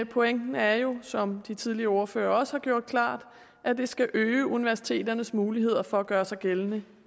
pointen er jo som de tidligere ordførere også har gjort klart at det skal øge universiteternes muligheder for at gøre sig gældende